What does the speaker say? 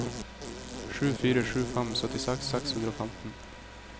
sju fire sju fem syttiseks seks hundre og femten